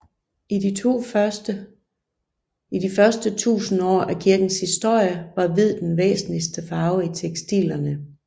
I de første tusind år af kirkens historie var hvid den væsentligste farve i tekstilerne